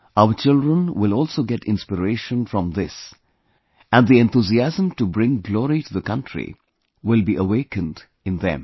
Our children will also get inspiration from this and the enthusiasm to bring glory to the country will be awakened in them